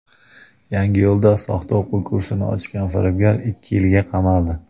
Yangiyo‘lda soxta o‘quv kursi ochgan firibgar ikki yilga qamaldi.